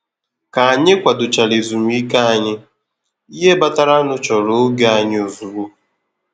ka ànyị kwado chara ezùmíkè ànyị, ìhè batara nụ chọrọ ògè ànyị ozugbo.